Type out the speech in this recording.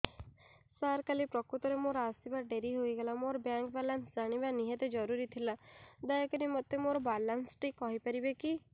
ସାର କାଲି ପ୍ରକୃତରେ ମୋର ଆସିବା ଡେରି ହେଇଗଲା ମୋର ବ୍ୟାଙ୍କ ବାଲାନ୍ସ ଜାଣିବା ନିହାତି ଜରୁରୀ ଥିଲା ଦୟାକରି ମୋତେ ମୋର ବାଲାନ୍ସ ଟି କହିପାରିବେକି